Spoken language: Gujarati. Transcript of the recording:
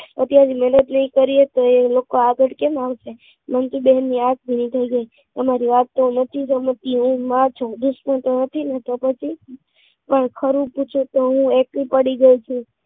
અત્યારથી મહેનત નહીં કરીએ તો એ લોકો આગળ કેમ આવશે મંજુ બેનની આંખ ભીની થઈ ગઈ અમારી વાત નહીં સમજતો હુ માં જ દુશ્મન તો નથી તો પછી પણ ખરું પૂછું તો હું એકલી પડી ગઈ છું